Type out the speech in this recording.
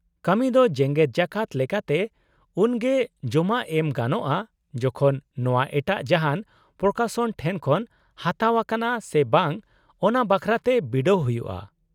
ᱠᱟᱹᱢᱤ ᱫᱚ ᱡᱮᱜᱮᱫ ᱡᱟᱠᱟᱛ ᱞᱮᱠᱟᱛᱮ ᱩᱱᱜᱮ ᱡᱚᱢᱟ ᱮᱢ ᱜᱟᱱᱚᱜᱼᱟ ᱡᱚᱠᱷᱚᱱ ᱱᱚᱶᱟ ᱮᱴᱟᱜ ᱡᱟᱦᱟᱸᱱ ᱯᱨᱚᱠᱟᱥᱚᱱ ᱴᱷᱮᱱ ᱠᱷᱚᱱ ᱦᱟᱛᱟᱣ ᱟᱠᱟᱱᱟ ᱥᱮ ᱵᱟᱝ ᱚᱱᱟ ᱵᱟᱠᱷᱨᱟᱛᱮ ᱵᱤᱰᱟᱹᱣ ᱦᱩᱭᱩᱜᱼᱟ ᱾